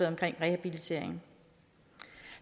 om rehabilitering